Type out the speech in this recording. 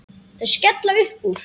Þau skella upp úr.